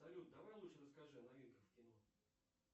салют давай лучше расскажи о новинках в кино